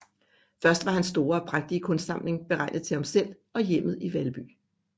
Først var hans store og prægtige kunstsamling beregnet til ham selv og hjemmet i Valby